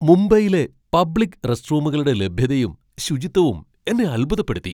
മുംബൈയിലെ പബ്ലിക്ക് റെസ്റ്റ്റൂമുകളുടെ ലഭ്യതയും, ശുചിത്വവും എന്നെ അത്ഭുതപ്പെടുത്തി.